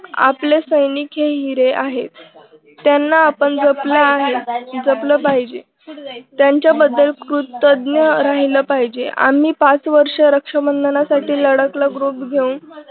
आपले सैनिक हे हिरे आहेत. त्यांना आपण जपलं आहे. जपलं पाहिजे. त्यांच्याबद्दल कृतज्ञ राहिल पाहिजे. आम्ही पाच वर्ष रक्षाबंधनासाठी लढाक ला group घेऊन